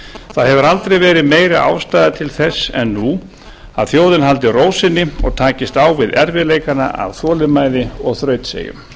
það hefur aldrei verið meiri ástæða til þess en nú að þjóðin haldi ró sinni og takist á við erfiðleikana af þolinmæði og þrautseigju